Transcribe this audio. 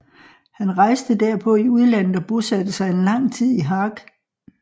Han rejste derpå i udlandet og bosatte sig en tid lang i Haag